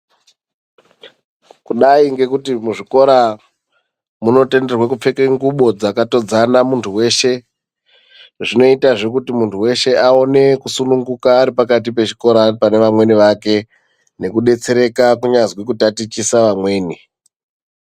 Kudai ngekuti kuzvikora munotenderwe kupfeka ngubo dzaka todzana muntu weshe zvinoita zvekuti munhu weshe aone kusununguka ari pakati pechikora pane vamweni vake nekubetsereka kunyazwi kutatichisa amweni.